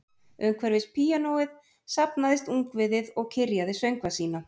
Umhverfis píanóið safnaðist ungviðið og kyrjaði söngva sína